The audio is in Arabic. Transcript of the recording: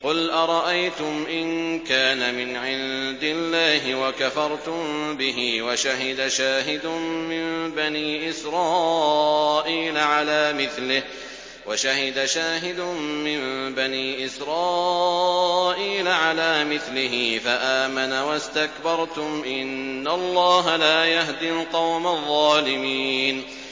قُلْ أَرَأَيْتُمْ إِن كَانَ مِنْ عِندِ اللَّهِ وَكَفَرْتُم بِهِ وَشَهِدَ شَاهِدٌ مِّن بَنِي إِسْرَائِيلَ عَلَىٰ مِثْلِهِ فَآمَنَ وَاسْتَكْبَرْتُمْ ۖ إِنَّ اللَّهَ لَا يَهْدِي الْقَوْمَ الظَّالِمِينَ